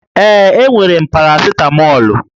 Ee, enwere m parasịtamọlụ